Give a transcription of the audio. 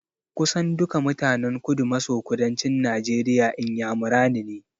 Kusan duka mutanen Kudu-maso-kudancin Najeriya Inyamurani ne.